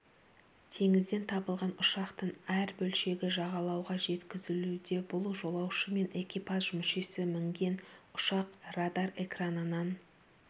теңізден табылған ұшақтың әр бөлшегі жағалауға жеткізілуде бұл жолаушы мен экипаж мүшесі мінген ұшақ радар экранынан